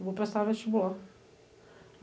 eu vou prestar vestibular.